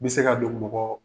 N bɛ se ka don mɔgɔ